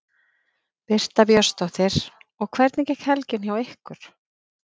Birta Björnsdóttir: Og hvernig gekk helgin hjá ykkur?